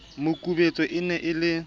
makubetse e ne e le